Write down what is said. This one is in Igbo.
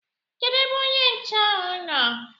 Kedu ebe onye nche ahụ nọ?